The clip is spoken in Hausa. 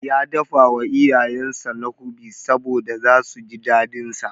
Ya dafawa iyayensa Nkwobi saboda zasu ji daɗinsa.